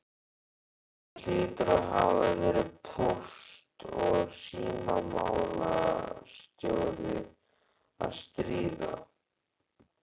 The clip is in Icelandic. Það hlýtur að hafa verið póst- og símamálastjóri að stríða!